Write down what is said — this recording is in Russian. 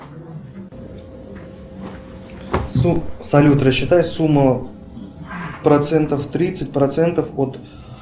салют рассчитай сумму процентов тридцать процентов от